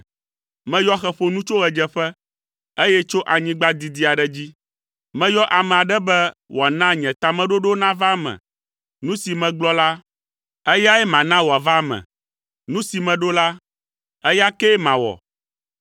meyɔ xeƒonu tso ɣedzeƒe, eye tso anyigba didi aɖe dzi. Meyɔ ame aɖe be wòana nye tameɖoɖowo nava eme. Nu si megblɔ la, eyae mana wòava eme. Nu si meɖo la, eya ke mawɔ.